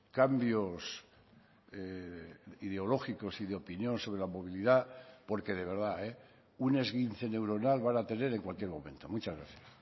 cambios ideológicos y de opinión sobre la movilidad porque de verdad un esguince neuronal van a tener en cualquier momento muchas gracias